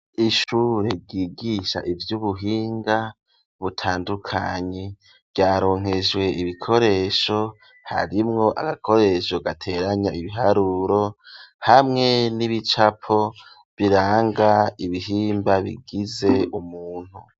Ishure ryigisha ivy'ubuhinga butandukanye ryaronkejwe ibikoresho harimwo agakoresho gateranya ibiharuro hamwe n'ibicapo biranga ibihimba bigize umuntu.